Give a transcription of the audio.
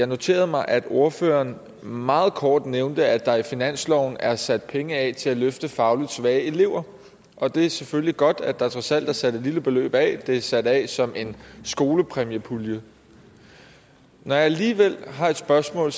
noterede mig at ordføreren meget kort nævnte at der i finansloven er sat penge af til at løfte fagligt svage elever og det er selvfølgelig godt at der trods alt er sat et lille beløb af det er sat af som en skolepræmiepulje når jeg alligevel har et spørgsmål